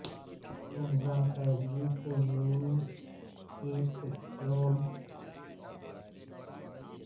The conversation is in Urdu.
باقاعدگی سے نیند کے پیٹرن درد کی طرف سے رکاوٹ ہیں